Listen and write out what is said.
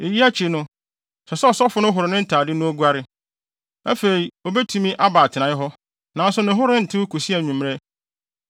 Eyi akyi no, ɛsɛ sɛ ɔsɔfo no horo ne ntade na oguare. Afei obetumi aba atenae hɔ, nanso ne ho rentew kosi anwummere.